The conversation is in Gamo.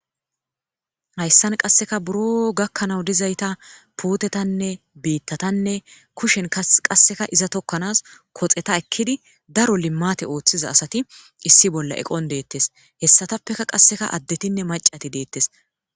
hayssan qasseka buro gakkanawu dizayta puutetanne biittatanne kushen qasseka iza tokkanas koxeta ekkidi daro limmate ooththiza asati issi bolla eqon deettes hessatappeka qasseka addetinne macati deettes